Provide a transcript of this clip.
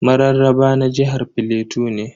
Mararraba na jihar plateau ne.